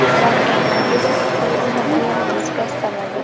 Ramzan Qodirov futbol o‘ynab, oyog‘ini shikastlab oldi.